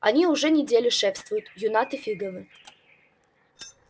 они уже неделю шефствуют юннаты фиговы